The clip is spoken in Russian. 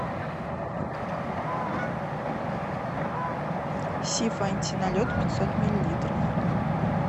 сиф антиналет пятьсот миллилитров